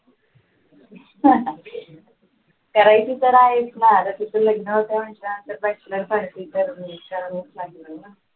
करायची तर आहेच ना आता तिचं लग्न होतं म्हटल्यावर bachelor party तर करावीच लागणार ना.